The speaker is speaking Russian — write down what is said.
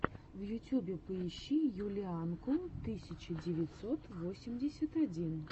в ютьюбе поищи юлианку тысяча девятьсот восемьдесят один